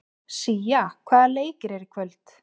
Sía, hvaða leikir eru í kvöld?